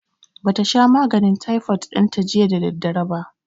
Ba ta sha maganin taifot ɗin ta jiya da daddare ba